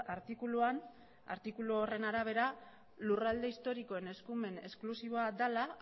artikuluan artikulu horren arabera lurralde historikoen eskumen esklusiboa dela